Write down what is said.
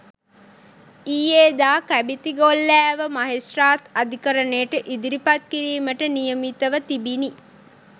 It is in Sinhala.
ඊයේ දා කැබිතිගොල්ලෑව මහෙස්ත්‍රාත් අධිකරණයට ඉදිරිපත් කිරීමට නියමිතව තිබිණි